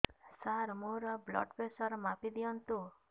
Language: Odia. ସାର ମୋର ବ୍ଲଡ଼ ପ୍ରେସର ମାପି ଦିଅନ୍ତୁ